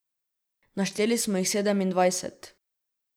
Našteli smo jih sedemindvajset.